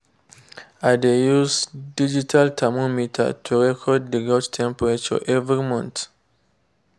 i dey use digital thermometer to record the goat’s temperature every month.